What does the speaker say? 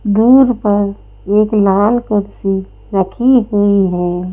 दूर पर एक लाल कुर्सी रखी हुई है।